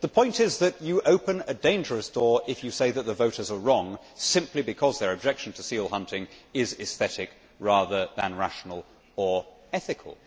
The point is that you open a dangerous door if you say that the voters are wrong simply because their objection to seal hunting is aesthetic rather than rational or ethical.